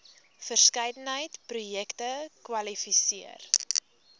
verskeidenheid projekte kwalifiseer